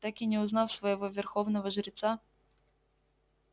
так и не узнав своего верховного жреца